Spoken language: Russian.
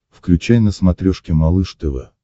включай на смотрешке малыш тв